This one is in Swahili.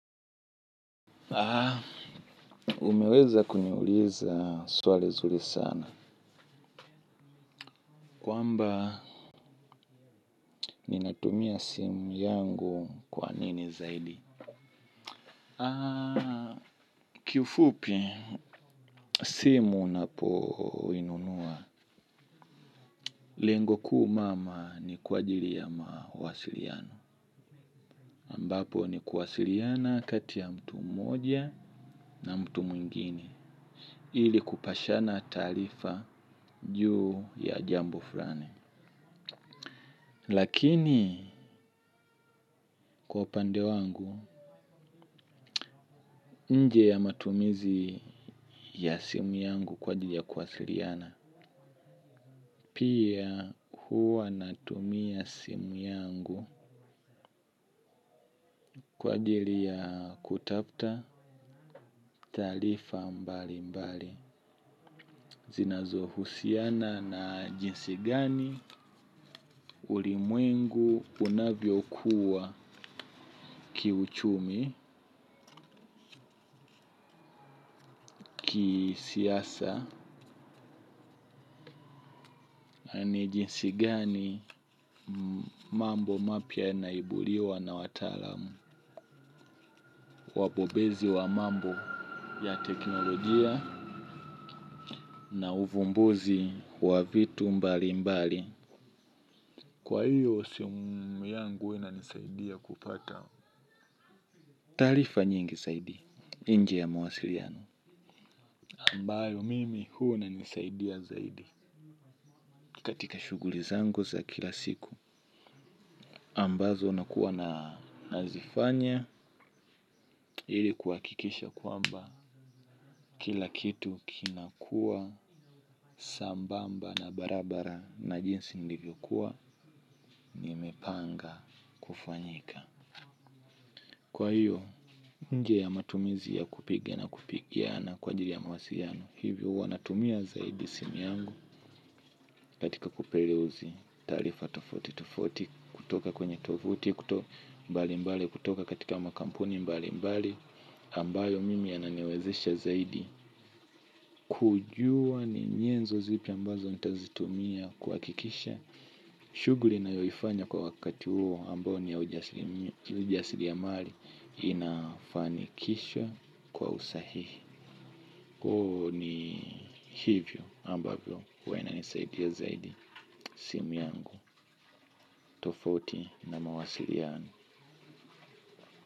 Umeweza kuniuliza swali zuri sana. Kwamba, ninatumia simu yangu kwa nini zaidi? Kifupi simu napoinunua. Lengo kuu mama ni kwa ajili ya mawasiliano. Ambapo ni kuwasiliana kati ya mtu moja na mtu mwingine. Ili kupashana taarifa juu ya jambo fulani. Lakini kwa upande wangu nje ya matumizi ya simu yangu kwa ajili ya kuwasiliana pia huwa natumia simu yangu kwa ajili ya kutafta taarifa mbali mbali. Zinazohusiana na jinsi gani ulimwengu unavyo kuwa kiuchumi, ki siasa, ni jinsi gani mambo mapya yanaibuliwa na wataalamu. Wabobezi wa mambo ya teknolojia na uvumbuzi wa vitu mbali mbali. Kwa hiyo, simu yangu huwa inanisaidia kupata. Taarifa nyingi zaidi. Nje ya mawasiliano. Ambayo mimi huwa inanisaidia zaidi katika shuguli zangu za kila siku ambazo nakua na nazifanya ili kuhakikisha kwamba kila kitu kinakua sambamba na barabara na jinsi nilivyo kuwa nimepanga kufanyika. Kwa hiyo nje ya matumizi ya kupigia na kupigia na kwa ajili ya mawasiliano hivyo huwa natumia zaidi simu yangu katika kupereuzi taarifa tofauti tofauti kutoka kwenye tovuti kutoka mbali mbali kutoka katika makampuni mbali mbali ambayo mimi yananiwezesha zaidi kujua ninyenzo zipi ambazo nitazitumia kuhakikisha shuguli ninayoifanya kwa wakati huo ambayo ni ya ujasiri amali inafanikishwa kwa usahihi. Ku ni hivyo ambavyo huwa inanisaidia zaidi simu yangu. Tofauti na mawasiliano.